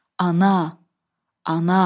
Ana, Ana,